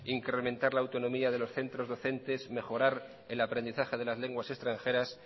incrementar la autonomía de los centros docentes mejorar el aprendizaje de las lenguas extranjeras